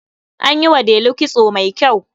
An yi wa Delu kitso mai kyau.